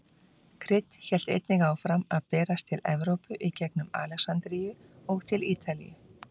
Krydd hélt einnig áfram að berast til Evrópu í gengum Alexandríu og til Ítalíu.